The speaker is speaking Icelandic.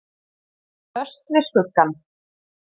Föst við skuggann.